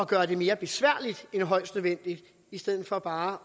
gøre det mere besværligt end højst nødvendigt i stedet for bare